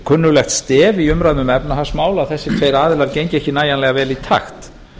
kunnuglegt stef í umræðum um efnahagsmál að þessir tveir aðilar gengu ekki nægilega vel í takt